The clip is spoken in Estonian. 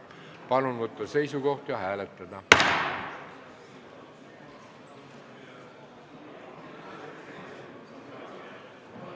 Palun võtta seisukoht ja hääletada!